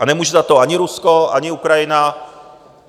A nemůže za to ani Rusko, ani Ukrajina.